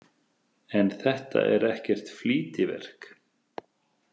En þetta er ekkert flýtiverk.